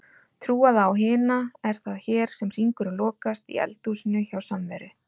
trúaða á hina, er það hér sem hringurinn lokast, í eldhúsinu hjá Samveri.